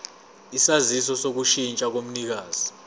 isaziso sokushintsha komnikazi